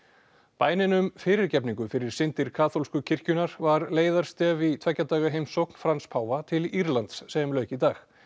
bænin um fyrirgefningu fyrir syndir kaþólsku kirkjunnar var leiðarstef í tveggja daga heimsókn Frans páfa til Írlands sem lauk í dag